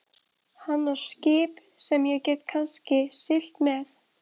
Hann á skip sem ég get kannski siglt með.